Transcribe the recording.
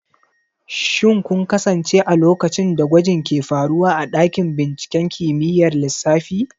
Shin kun kasance a lokacin da gwajin ke faruwa a dakin binciken kimiyyar lissafi?